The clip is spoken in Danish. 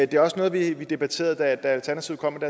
det var også noget vi vi debatterede da alternativet kom